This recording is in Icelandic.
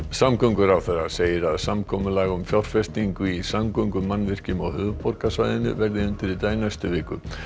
samgönguráðherra segir að samkomulag um fjárfestingu í samgöngumannvirkjum á höfuðborgarsvæðinu verði undirritað í næstu viku